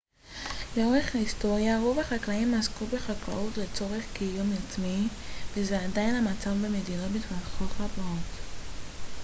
לאורך היסטוריה רוב החקלאים עסקו בחקלאות לצורך קיום עצמי וזה עדיין המצב במדינות מתפתחות רבות